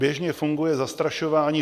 Běžně funguje zastrašování.